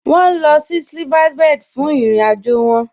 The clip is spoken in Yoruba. Wọn nílọ̀ sí Silverbird fún ìrìn-àjọ wọn.